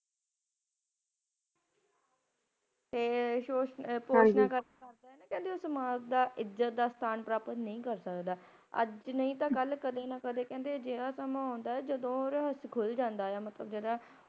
ਤੇ ਔਸ ਮਾਲਕ ਦਾ ਇੱਜ਼ਤ ਦਾ ਸਥਾਨ ਪ੍ਰਾਪਤ ਨਹੀਂ ਕਰ ਸਕਦਾ। ਅੱਜ ਨਹੀ ਤਾਂ ਕਲ ਕਦੇ ਨਾ ਕਦੇ ਅਜਿਹਾ ਸਮਾਂ ਆਂਦਾ ਏ ਜਦੋ ਇਹ ਰਹੱਸ ਖੁਲ ਜੰਦਾ ਏ ਮਤਲਬ ਜਿਹੜਾ